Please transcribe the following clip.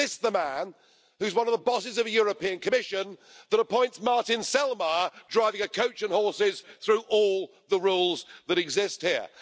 This is the man who is one of the bosses of the European Commission that appoints Martin Selmayr, driving a coach and horses through all the rules that exist here.